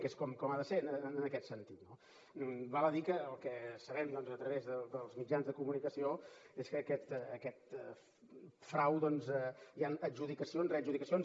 que és com ha de ser en aquest sentit no val a dir que el que sabem doncs a través dels mitjans de comunicació és que en aquest frau doncs hi ha adjudicacions readjudicacions